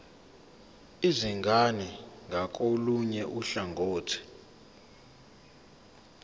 izingane ngakolunye uhlangothi